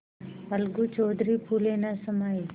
अलगू चौधरी फूले न समाये